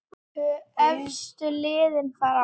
Tvö efstu liðin fara áfram.